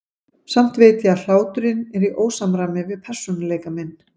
Samt veit ég að hláturinn er í ósamræmi við persónuleika minn.